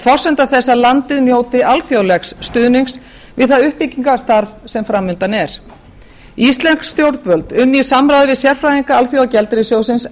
forsenda þess að landið njóti alþjóðlegs stuðnings við það uppbyggingarstarf sem fram undan er íslensk stjórnvöld unnu í samræmi við sérfræðinga alþjóðagjaldeyrissjóðsins